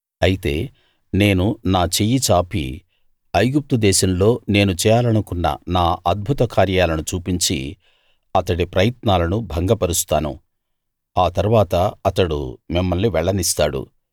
అయితే నేను నా చెయ్యి చాపి ఐగుప్తు దేశంలో నేను చేయాలనుకున్న నా అద్భుత కార్యాలను చూపించి అతడి ప్రయత్నాలను భంగపరుస్తాను ఆ తరువాత అతడు మిమ్మల్ని వెళ్ళనిస్తాడు